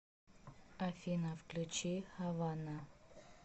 афина включи хавана